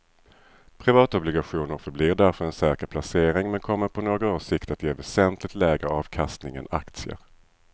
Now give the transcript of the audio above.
Privatobligationer förblir därför en säker placering men kommer på några års sikt att ge väsentligt lägre avkastning än aktier.